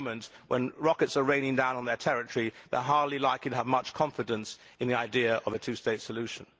At the moment when rockets are raining down on their territory they are hardly likely to have much confidence in the idea of a two state solution.